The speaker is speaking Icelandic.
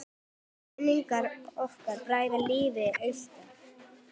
Minning ykkar bræðra lifir alltaf!